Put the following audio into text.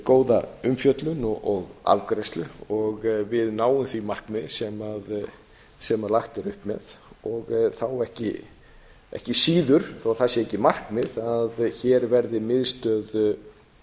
góða umfjöllun og afgreiðslu og við náum því markmiði sem lagt er upp með þá ekki síður þó það sé ekki markmið að hér verið miðstöð